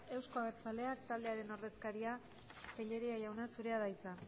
euzko abertzalea taldearen ordezkaria tellería jauna zurea da hitza